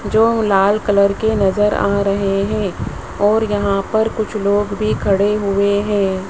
जो लाल कलर के नजर आ रहे हैं और यहां पर कुछ लोग भी खड़े हुए हैं।